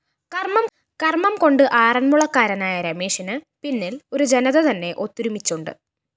കര്‍മ്മംകൊണ്ട് ആറന്മുളക്കാരനായ രമേശിന് പിന്നില്‍ ഒരു ജനതതന്നെ ഒത്തൊരുമിച്ചുണ്ട്